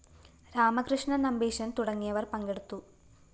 രാമകൃഷ്ണന്‍ നമ്പീശന്‍ തുടങ്ങിയവര്‍ പങ്കെടുത്തു